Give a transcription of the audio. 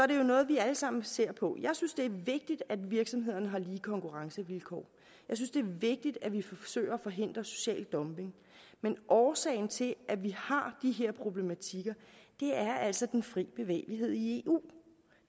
det jo noget vi alle sammen ser på jeg synes det er vigtigt at virksomhederne har lige konkurrencevilkår jeg synes det er vigtigt at vi forsøger at forhindre social dumping men årsagen til at vi har de her problematikker er altså den fri bevægelighed i eu